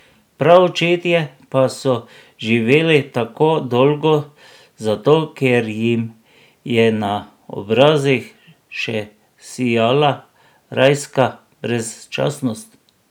Praočetje pa so živeli tako dolgo zato, ker jim je na obrazih še sijala rajska brezčasnost.